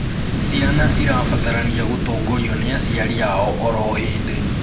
Ciana irabatarania gutongorio ni aciari ao oro hĩndĩ